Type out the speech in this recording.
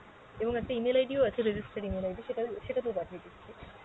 এবং একটা email ID ও আছে register email ID সেটা সেটাতেও পাঠিয়ে দিচ্ছি।